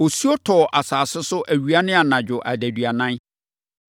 Osuo tɔɔ asase so awia ne anadwo adaduanan.